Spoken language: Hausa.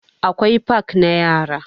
Akwai fak na yara.